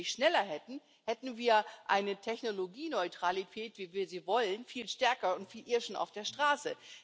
Wenn wir das nämlich schneller hätten, hätten wir eine Technologieneutralität, wie wir sie wollen, viel stärker und viel eher schon auf der Straße.